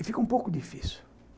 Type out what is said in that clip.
E fica um pouco difícil.